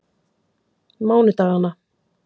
mánudagana